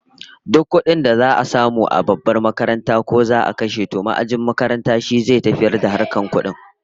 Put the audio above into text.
Duk kudin da za'a samu a babbar makarantar, ko za'a kashe, to ma'ajin makaranta shi zai tafiyar da harkokin kudin